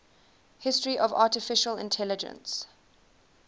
history of artificial intelligence